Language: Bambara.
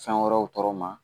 Fɛn wɛrɛw tɔɔrɔ ma